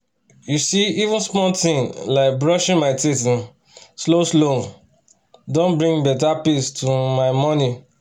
you see even small thing like brushing my teeth um slow-slow um don bring better peace to um my morning